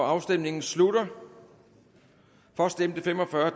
afstemningen slutter for stemte fem og fyrre